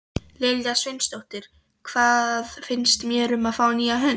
Lilja Sveinsdóttir: Hvað finnst mér um að fá nýjan hund?